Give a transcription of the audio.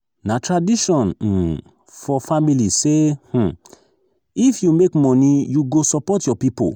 na tradition um for family say um if you make money you go support your people.